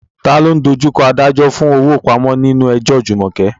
Ta ló ń dojú kọ adájọ́ fún owó ìpamọ́ nínú ẹjọ́ Jumoke?